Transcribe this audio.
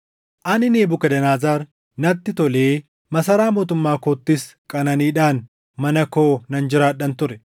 Ani Nebukadnezar natti tolee masaraa mootummaa koottis qananiidhaan mana koo nan jiraadhan ture.